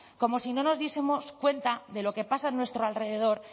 como si no nos diesemos cuenta de lo que pasa a nuestro alrededor